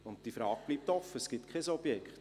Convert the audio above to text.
Und diese Frage bleibt offen, es gibt kein Objekt.